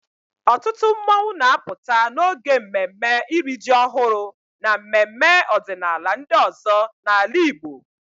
Ọtụtụ mmọnwụ na-apụta n'oge mmemme iri ji ọhụrụ na mmemme ọdịnala ndị ọzọ n'ala Igbo.